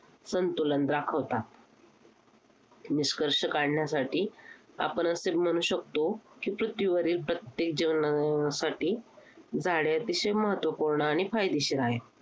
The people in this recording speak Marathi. संतुलन राखतात. निष्कर्ष काढण्यासाठी आपणच ते म्हणू शकतो की पृथ्वीवरील प्रत्येक जीवनासाठी झाडे अतिशय महत्त्वपूर्ण आणि फायदेशीर आहेत.